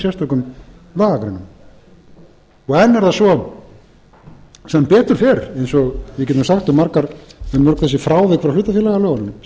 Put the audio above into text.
sérstökum lagagreinum enn er það svo sem betur fer eins og við getum sagt um mörg þessi frávik frá hlutafélagalögunum